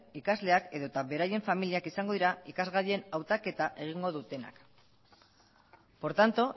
ikasleak edota eta beraien familia izango dira ikasgaien hautaketa egingo dutenak por tanto